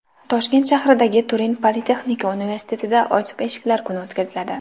Toshkent shahridagi Turin Politexnika universitetida ochiq eshiklar kuni o‘tkaziladi.